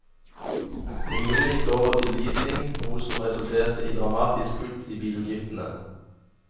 Kommunen gikk over til leasing, noe som resulterte i dramatiske kutt i bilutgiftene.